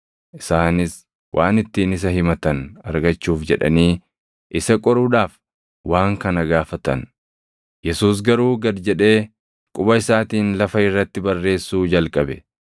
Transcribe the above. Isaanis waan ittiin isa himatan argachuuf jedhanii isa qoruudhaaf waan kana gaafatan. Yesuus garuu gad jedhee quba isaatiin lafa irratti barreessuu jalqabe.